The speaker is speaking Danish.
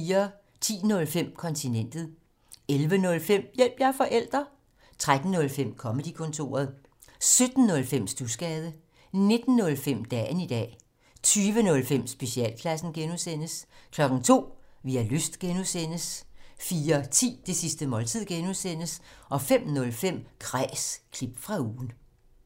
10:05: Kontinentet 11:05: Hjælp – jeg er forælder! 13:05: Comedy-kontoret 17:05: Studsgade 19:05: Dagen i dag 20:05: Specialklassen (G) 02:00: Vi har lyst (G) 04:10: Det sidste måltid (G) 05:05: Kræs – klip fra ugen